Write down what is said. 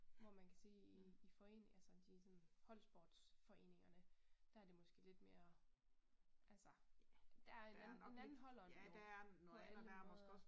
Hvor man kan sige i foreninger altså de sådan holdsportsforeningerne der det måske lidt mere altså der der er en en anden holdånd jo på alle måder